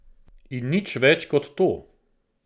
In nič več kot to.